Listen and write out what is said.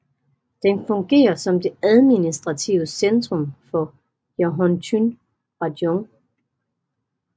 Den fungerer som det administrative centrum for Jahotyn rajon